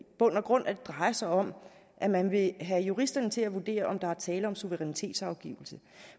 bund og grund drejer sig om at man vil have juristerne til at vurdere om der er tale om suverænitetsafgivelse